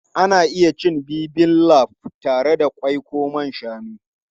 Ana iya cin Bibimbap da ƙwai ko naman shanu.